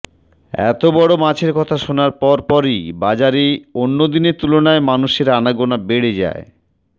এত বড় মাছের কথা শোনার পর পরই বাজারে অন্যদিনের তুলনায় মানুষের আনাগোনা বেড়ে যায়